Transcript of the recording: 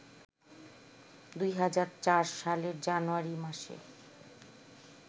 ২০০৪ সালের জানুয়ারি মাসে